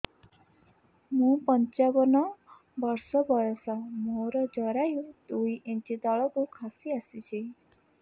ମୁଁ ପଞ୍ଚାବନ ବର୍ଷ ବୟସ ମୋର ଜରାୟୁ ଦୁଇ ଇଞ୍ଚ ତଳକୁ ଖସି ଆସିଛି